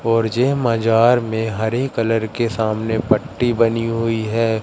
और यह मजार में हरी कलर के सामने पट्टी बनी हुई है।